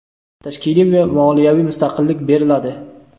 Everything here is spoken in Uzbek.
tashkiliy va moliyaviy mustaqillik beriladi.